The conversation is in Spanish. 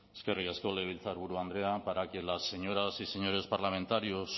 eskerrik asko legebiltzarburu andrea para que las señoras y señores parlamentarios